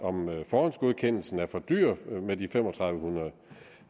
forhåndsgodkendelsen er for dyr